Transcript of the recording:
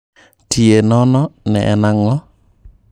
Tie nono ne en ang'o?